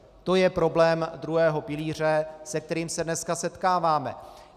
To je problém druhého pilíře, se kterým se dneska setkáváme.